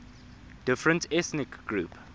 different ethnic groups